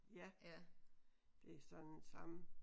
Ja det er sådan samme